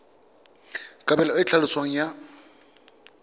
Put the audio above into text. kabelo e e tlhaloswang ya